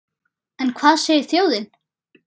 En hvað segir þjóðin?